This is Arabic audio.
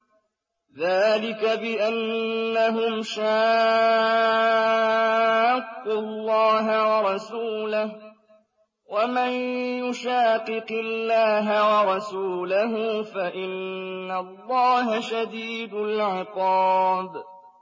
ذَٰلِكَ بِأَنَّهُمْ شَاقُّوا اللَّهَ وَرَسُولَهُ ۚ وَمَن يُشَاقِقِ اللَّهَ وَرَسُولَهُ فَإِنَّ اللَّهَ شَدِيدُ الْعِقَابِ